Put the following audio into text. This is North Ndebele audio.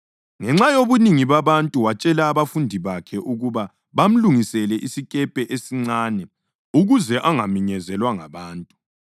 Ngenxa yobunengi babantu watshela abafundi bakhe ukuba bamlungisele isikepe esincane ukuze angaminyezelwa ngabantu.